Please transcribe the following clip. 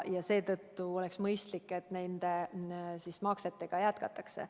Ja seetõttu oleks mõistlik, et neid makseid jätkatakse.